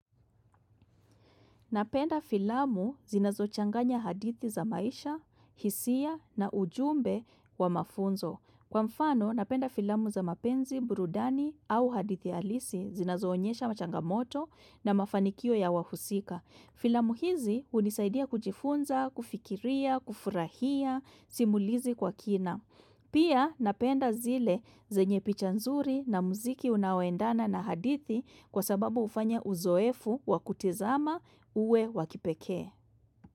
Napenda filamu zinazo changanya hadithi za maisha, hisia na ujumbe wa mafunzo. Kwa mfano, napenda filamu za mapenzi, burudani au hadithi alisi zinazoonyesha machangamoto na mafanikio ya wahusika. Filamu hizi unisaidia kujifunza, kufikiria, kufurahia, simulizi kwa kina. Pia napenda zile zenye picha nzuri na muziki unaoendana na hadithi kwa sababu ufanya uzoefu wakutizama uwe wakipekee.